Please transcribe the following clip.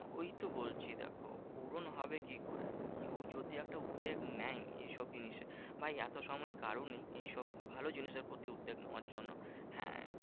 ওই তো বলছি দেখো পূরণ হবে কি করে? কেউ যদি একটা উদ্বেগ নেয় এইসব জিনিসে? ভাই এত সময় কারোর নেই। এইসব ভালো জিনিসের প্রতি উদ্বেগ নেওয়ার জন্য। হ্যাঁ